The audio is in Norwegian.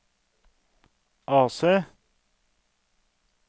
AC